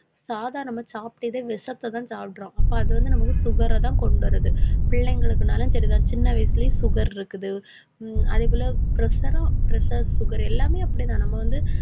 சாதா நம்ம சாப்பிட்டதே விஷத்தைதான் சாப்பிடுறோம். அப்ப அது வந்து நமக்கு sugar ர தான் கொண்டு வருது. பிள்ளைங்களுக்குனாலும் சரிதான். சின்ன வயசுலயே sugar இருக்குது ஹம் அதே போல pressure உம் pressure, sugar எல்லாமே அப்படித்தான் நம்ம வந்து